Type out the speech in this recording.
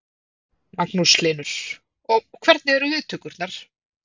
Magnús Hlynur: Og hvernig eru viðtökurnar?